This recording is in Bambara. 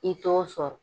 I t'o sɔrɔ